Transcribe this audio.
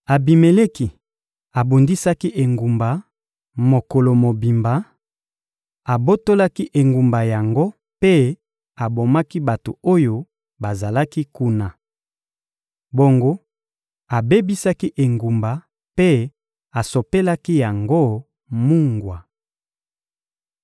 Abimeleki abundisaki engumba mokolo mobimba, abotolaki engumba yango mpe abomaki bato oyo bazalaki kuna. Bongo abebisaki engumba mpe asopelaki yango mungwa.